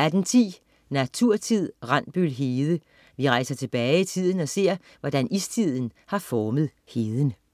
18.10 Naturtid. Randbøl Hede. Vi rejser tilbage i tiden og ser, hvordan istiden har formet heden